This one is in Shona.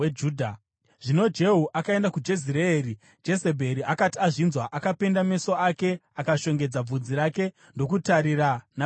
Zvino Jehu akaenda kuJezireeri. Jezebheri akati azvinzwa, akapenda meso ake, akashongedza bvudzi rake ndokutarira napawindo.